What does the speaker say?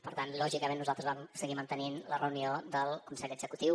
per tant lògicament nosaltres vam seguir mantenint la reunió del consell executiu